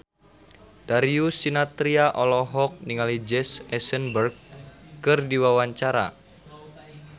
Darius Sinathrya olohok ningali Jesse Eisenberg keur diwawancara